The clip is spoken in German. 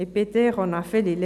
Peter Gasser